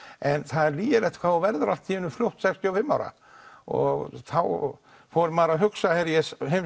en það er lygilegt hvað þú verður allt í einu fljótt sextíu og fimm ára og þá fór maður að hugsa ég